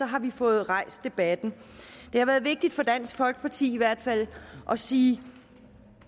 har vi fået rejst debatten det har været vigtigt for dansk folkeparti i hvert fald at sige